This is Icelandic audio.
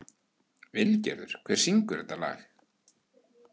Vilgerður, hver syngur þetta lag?